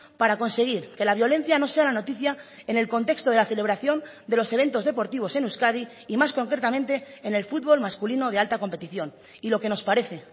para conseguir que la violencia no sea la noticia en el contexto de la celebración de los eventos deportivos en euskadi y más concretamente en el fútbol masculino de alta competición y lo que nos parece